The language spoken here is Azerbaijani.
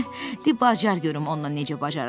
De bacar görüm onunla necə bacarırsan.